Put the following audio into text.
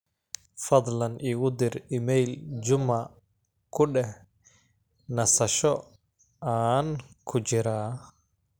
fadhlan igu dir iimayl juma ku deh nasasho aan ku jiraa